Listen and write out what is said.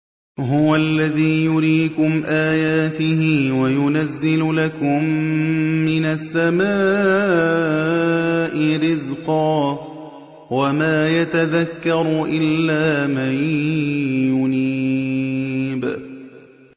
هُوَ الَّذِي يُرِيكُمْ آيَاتِهِ وَيُنَزِّلُ لَكُم مِّنَ السَّمَاءِ رِزْقًا ۚ وَمَا يَتَذَكَّرُ إِلَّا مَن يُنِيبُ